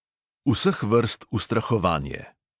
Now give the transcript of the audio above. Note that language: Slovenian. Vseh vrst ustrahovanje.